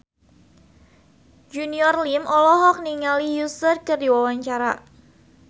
Junior Liem olohok ningali Usher keur diwawancara